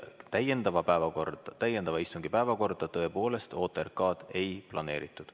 Ja täiendava istungi päevakorda tõepoolest OTRK-d ei planeeritud.